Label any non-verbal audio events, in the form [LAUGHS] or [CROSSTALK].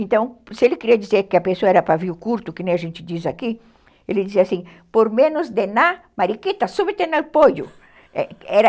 Então, se ele queria dizer que a pessoa era pavio curto, como a gente diz aqui, ele dizia assim, por menos denar mariquita, subtener poio [LAUGHS]